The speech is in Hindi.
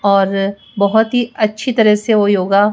और बहोत ही अच्छी तरह से वो योगा--